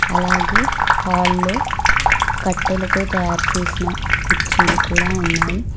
అలాగే హాల్లో కట్టెలతో తయారు చేసిన కుర్చీలు కూడా ఉన్నాయి.